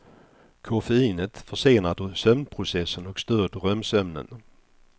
Koffeinet försenar sömnprocessen och stör drömsömnen.